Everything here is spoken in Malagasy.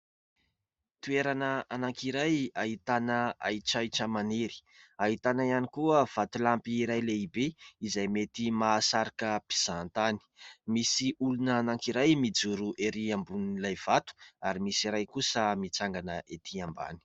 Toerana anankiray ahitana ahitratrahitra maniry, ahitana ihany koa vatolampy iray lehibe izay mety mahasarika mpizahan-tany. Misy olona anankiray mijoro erỳ ambonin'ilay vato ary misy iray kosa mitsangana etỳ ambany.